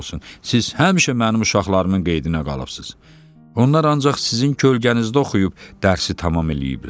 Siz həmişə mənim uşaqlarımın qeydinə qalıbsınız, onlar ancaq sizin kölgənizdə oxuyub dərsi tamam eləyiblər.